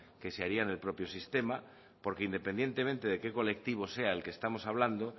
que se haría en el propio sistema porque independientemente de qué colectivo sea del que estamos hablando